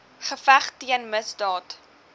geveg teen misdaad